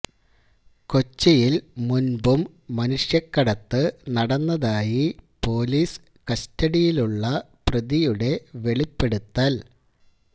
കൊച്ചിയില് മുന്പും മനുഷ്യക്കടത്ത് നടന്നതായി പൊലീസ് കസ്റ്റഡിയിലുള്ള പ്രതിയുടെ വെളിപ്പെടുത്തല്